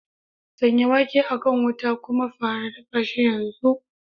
Sanya wake a kan wuta kuma fara dafa shi yanzu!